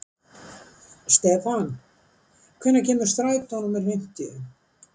Stefan, hvenær kemur strætó númer fimmtíu?